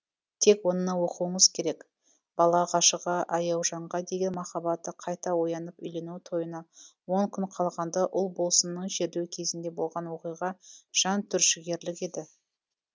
тек оны оқуыңыз керек бала ғашығы аяужанға деген махаббаты қайта оянып үйлену тойына он күн қалғанда ұлболсынның жерлеу кезінде болған оқиға жантүршігерлік еді